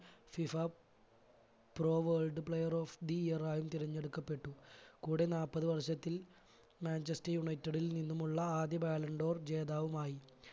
FIFA pro world player of the year ആയും തിരഞ്ഞടുക്കപെട്ടു കൂടെ നാല്പത് വർഷത്തിൽ മാഞ്ചസ്റ്റർ united ൽ നിന്നുമുള്ള ആദ്യ ballon d'or ജേതാവുമായി